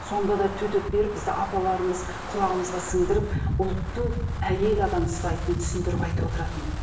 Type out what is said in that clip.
сонда да төтеп беріп бізді апаларымыз құлағымызға сіңдіріп ұлтты әйел адам ұстайтынын түсіндіріп айтып отыратын